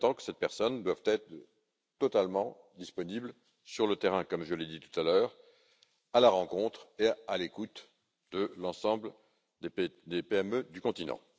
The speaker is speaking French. En même temps, cette personne devra être totalement disponible sur le terrain, comme je l'ai dit tout à l'heure, à la rencontre et à l'écoute de l'ensemble des PME du continent.